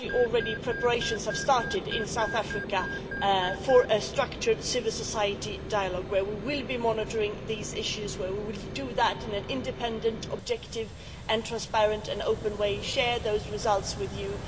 Actually, preparations have already started in South Africa for a structured civil society dialogue where we will be monitoring these issues and we will do that in an independent, objective and transparent and open way, and share those results with you.